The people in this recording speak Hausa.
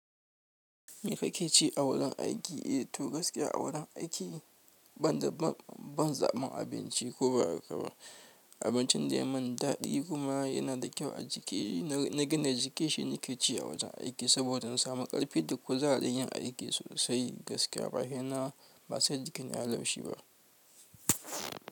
Me kake ci a wurin aiki. Eh to gaskiya a wurin aiki ban da ban, ban zaɓan abinci ko ba haka ba. Abincin da ya min daɗi kuma yana da kyau a jiki na gina jiki shi nake ci a wujen aiki, saboda in samu ƙarfi da kuzarin yin aiki sosai gaskiya ba sai jikina yayi laushi ba.